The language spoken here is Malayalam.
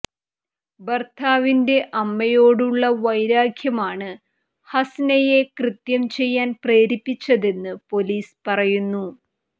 ഭർത്താവിന്റെ അമ്മയോടുള്ള വൈരാഗ്യമാണ് ഹസ്നയെ കൃത്യം ചെയ്യാൻ പ്രേരിപ്പിച്ചതെന്ന് പൊലീസ് പറയുന്നു